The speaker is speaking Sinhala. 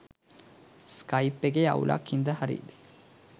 ස්කයිප් එකේ අවුලක් හින්දා හරිය.